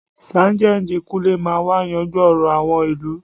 Sájẹ́ǹjì Kúnlé máa wa yanjú ọ̀rọ̀ àwọn ìlú